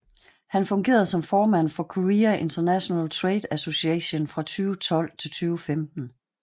Han fungerede som formand for Korea International Trade Association fra 2012 til 2015